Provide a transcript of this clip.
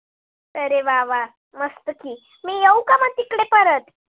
अरे वा वा, मस्त की मी येऊ का म तिकडे परत?